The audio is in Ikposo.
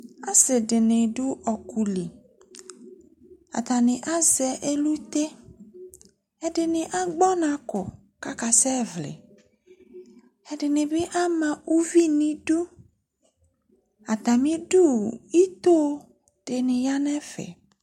Aasiɖini ɖʋ ɔkʋliAtani azɛ elʋte' Ɛɖini agbɔ ɔnkɔ k'akasɛ WiiƐɖini bi ama ʋvi n'iɖʋAtamiɖʋ, itoɖini yaa n'ɛfɛ